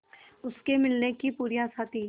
उसके मिलने की पूरी आशा थी